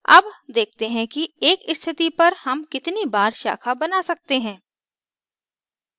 अब देखते हैं कि एक स्थिति पर हम कितनी बार शाखा बना सकते हैं